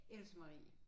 Else Marie